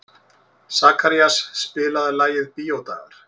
Sakarías, spilaðu lagið „Bíódagar“.